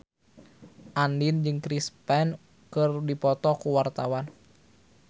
Andien jeung Chris Pane keur dipoto ku wartawan